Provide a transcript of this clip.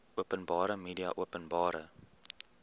openbare media openbare